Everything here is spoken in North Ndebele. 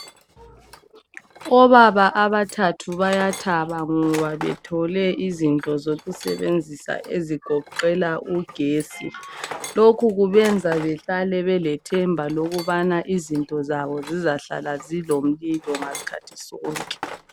Obaba abathathu bayathaba ngoba bethole izinto zokusebenzisa ezigoqela ugesi , lokhu kubenza behlale belethemba lokubana izinto zabo zizahlala zilomlilo ngaskhathi sonke